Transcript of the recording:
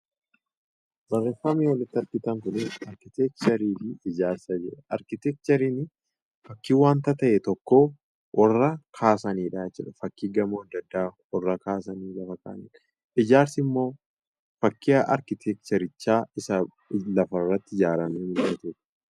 Barreeffamni olitti argitan kun arkitekcherii fi ijaarsa jedha. Arkitekcheriin fakkii wanta ta'e tokkoo warra kaasanii dha jechuu dha. Fakkii gamoo adda addaa warra kaasanii lafa kaa'anii dha. Ijaarsi immoo fakkii arkitekcherichaa isa lafarratti ijaaramee mul'atu dha.